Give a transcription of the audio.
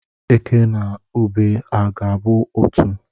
Eke na ube ha ga-abụ otu?